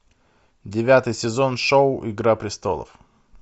девятый сезон шоу игра престолов